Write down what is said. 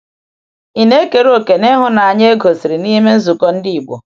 Ị na-ekere òkè n’ihụnanya e gosiri n’ime nzukọ ndị Igbo?